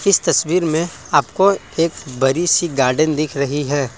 इस तस्वीर में आपको एक बड़ी सी गार्डन दिख रही है।